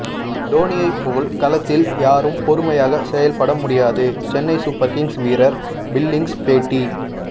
டோனியை போல் களத்தில் யாரும் பொறுமையாக செயல்பட முடியாது சென்னை சூப்பர் கிங்ஸ் வீரர் பில்லிங்ஸ் பேட்டி